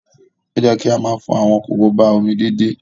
Ó yẹ ká máa fọ àwọn korobá omi déédéé.